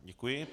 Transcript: Děkuji.